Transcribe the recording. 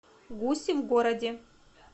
гуси в городе